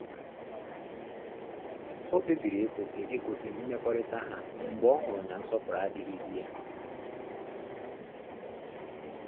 O kpebiri ịkwụsị ịkwụsị mmekọrịta ha mgbe ọ hụrụ na nsọpụrụ adịghịzi ya